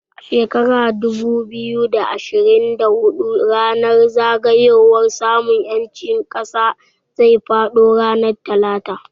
A shekara dubu biyu da ashirin da hudu ranar zagayowar samun ƴancin ƙasa zai faɗo ranar Talata